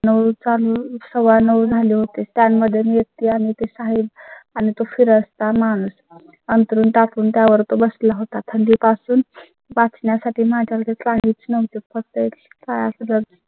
नऊ चालू सव्वानऊ झाले होते. त्या मधून व्यक्ती आणि ते साहिब आणि तो फिरस्ता माणूस अंथरूण टाकून त्यावर तो बसला होता त्याआधी पासून वाचण्यासाठी माझ्याकडे काहीच नव्हते. फक्त काळे पण जाय